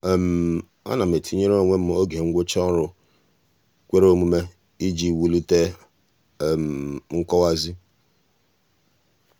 a um na um m etinyere onwe m oge ngwụcha ọrụ kwere omume iji wulite um nkọwazi.